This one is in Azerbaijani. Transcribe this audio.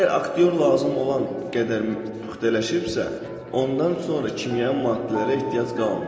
Əgər aktyor lazım olan qədər püxtələşibsə, ondan sonra kimyəvi maddələrə ehtiyac qalmır.